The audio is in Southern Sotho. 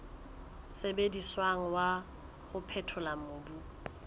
sebediswang wa ho phethola mobu